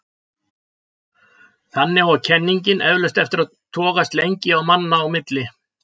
Þannig á kenningin eflaust eftir að togast lengi manna á milli.